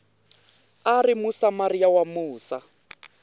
a ri musamariya wa musa